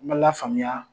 N ma lafaamuya